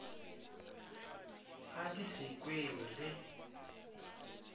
a di se kwewe le